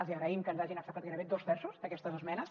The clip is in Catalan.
els hi agraïm que ens hagin acceptat gairebé dos terços d’aquestes esmenes